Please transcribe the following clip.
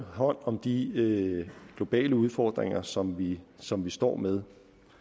hånd om de globale udfordringer som vi som vi står med